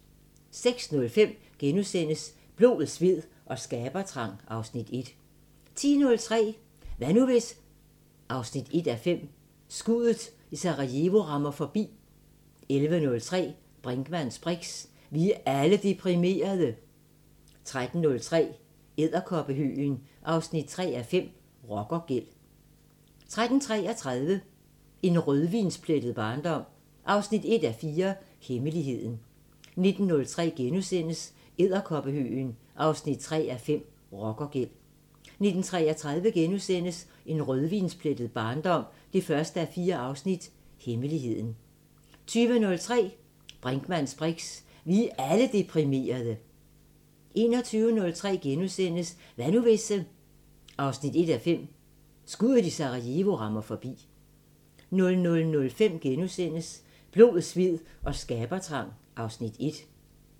06:05: Blod, sved og skabertrang (Afs. 1)* 10:03: Hvad nu hvis...? 1:5 – Skuddet i Sarajevo rammer forbi 11:03: Brinkmanns briks: Vi er alle deprimerede! 13:03: Edderkoppehøgen 3:5 – Rockergæld 13:33: En rødvinsplettet barndom 1:4 – Hemmeligheden 19:03: Edderkoppehøgen 3:5 – Rockergæld * 19:33: En rødvinsplettet barndom 1:4 – Hemmeligheden * 20:03: Brinkmanns briks: Vi er alle deprimerede! 21:03: Hvad nu hvis...? 1:5 – Skuddet i Sarajevo rammer forbi * 00:05: Blod, sved og skabertrang (Afs. 1)*